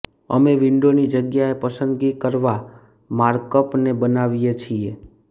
અમે વિન્ડોની જગ્યાએ પસંદગી કરવા માર્કઅપને બનાવીએ છીએ